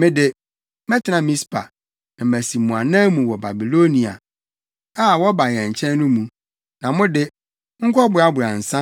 Me de, mɛtena Mispa, na masi mo anan mu wɔ Babiloniafo a, wɔba yɛn nkyɛn no mu, na mo de, monkɔboaboa nsa,